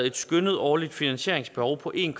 et skønnet årligt finansieringsbehov på en